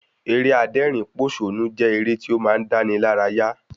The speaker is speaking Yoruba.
Eré adẹ́rìn pòsónú jẹ́ eré tí ó máa ń dáni lára yá